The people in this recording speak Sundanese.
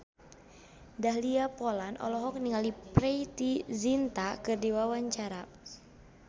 Dahlia Poland olohok ningali Preity Zinta keur diwawancara